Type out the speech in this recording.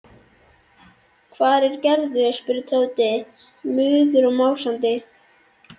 Hvar er Gerður? spurði Tóti, móður og másandi.